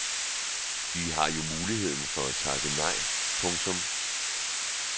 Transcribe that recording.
De har jo muligheden for at takke nej. punktum